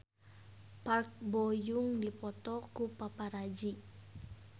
Park Bo Yung dipoto ku paparazi